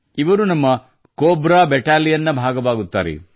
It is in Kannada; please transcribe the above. ಇವರು ನಮ್ಮ ಕೊಬ್ರಾ ಬ್ಯಾಟಲಿಯನ್ ನ ಭಾಗವಾಗುತ್ತಾರೆ